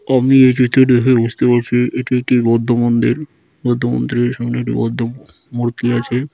আমি এই চিত্রটি দেখে বুজতে পাচ্ছি এটি একটি বৌদ্ধ মন্দির বৌদ্ধ মন্দিরের সামনে একটি বৌদ্ধ মূর্তি আছে ।